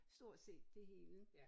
Stort set det hele